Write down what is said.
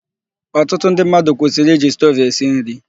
Ọtụtụ ndị mmadụ kwụsịrị iji stovu esi nri.